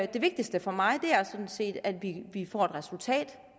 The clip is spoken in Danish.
det vigtigste for mig er sådan set at vi får et resultat